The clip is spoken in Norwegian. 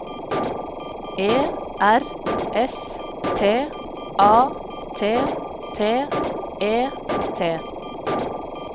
E R S T A T T E T